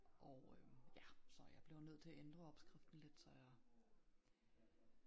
Og øh ja så jeg blev nødt til at ændre opskriften lidt så jeg